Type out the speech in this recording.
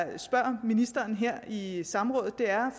at jeg spørger ministeren i i samrådet er